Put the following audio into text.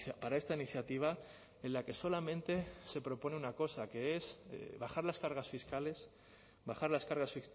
para esta iniciativa en la que solamente se propone una cosa que es bajar las cargas fiscales bajar las cargas